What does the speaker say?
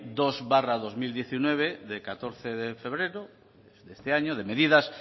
dos barra dos mil diecinueve de catorce de febrero de este año de medidas